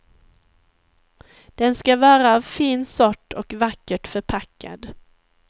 Den ska vara av fin sort och vackert förpackad.